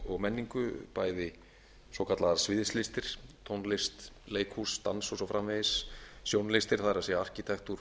og menningu bæði svokallaðar sviðslistir tónlist leikhús dans og svo framvegis sjónlistir það er arkitektúr